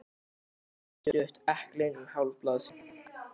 Bréfið var stutt, ekki lengra en hálf blaðsíða.